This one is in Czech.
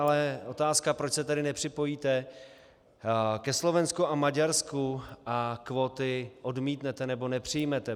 Ale otázka: Proč se tedy nepřipojíte ke Slovensku a Maďarsku a kvóty odmítnete, nebo nepřijmete?